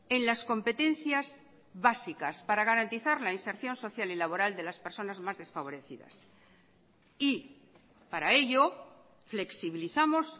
en las competencias básicas para garantizar la inserción social y laboral de las personas más desfavorecidas y para ello flexibilizamos